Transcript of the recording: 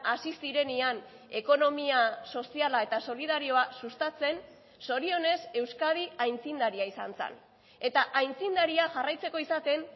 hasi zirenean ekonomia soziala eta solidarioa sustatzen zorionez euskadi aitzindaria izan zen eta aitzindaria jarraitzeko izaten